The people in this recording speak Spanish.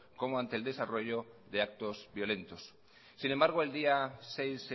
como ante el desarrollo de actos violentos sin embargo el día seis